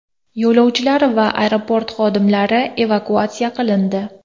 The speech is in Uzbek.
Yo‘lovchilar va aeroport xodimlari evakuatsiya qilindi.